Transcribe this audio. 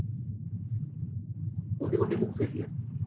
कोणते कोणते books घेतलेत?